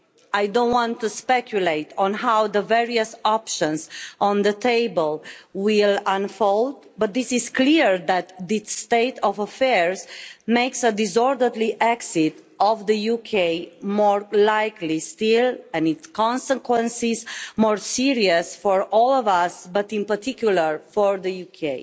I don't want to speculate on how the various options on the table will unfold, but this is clear that this state of affairs makes a disorderly exit of the UK more likely still and its consequences more serious for all of us, but in particular for the UK.